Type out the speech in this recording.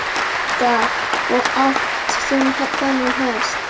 Linda: Og átt þú þennan hest?